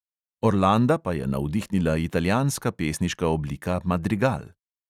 Orlanda pa je navdihnila italijanska pesniška oblika madrigal.